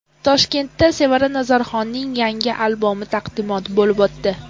Toshkentda Sevara Nazarxonning yangi albomi taqdimoti bo‘lib o‘tdi.